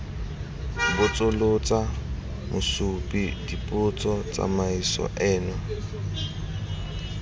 botsolotsa mosupi dipotso tsamaiso eno